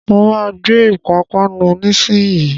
Mo máa gbé Ìpapánu nísìnyín.